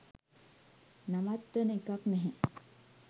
නවත්වන එකක් නැහැ